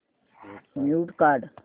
mute काढ